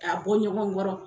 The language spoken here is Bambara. K'a bɔ ɲɔgɔn kɔrɔ